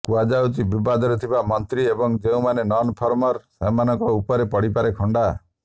କୁହାଯାଉଛି ବିବାଦରେ ଥିବା ମନ୍ତ୍ରୀ ଏବଂ ଯେଉଁମାନେ ନନ୍ ପର୍ଫମର୍ ସେମାନଙ୍କ ଉପରେ ପଡ଼ିପାରେ ଖଣ୍ଡା